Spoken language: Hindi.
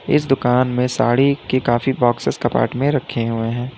इस दुकान में साड़ी के काफी बॉक्सेज कपबोर्ड में रखे हुए हैं।